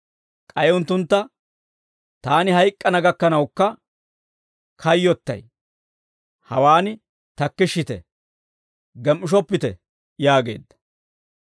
K'ay unttuntta, «Taani hayk'k'ana gakkanawukka kayyottay; hawaan takkishshite; gem"ishoppite» yaageedda.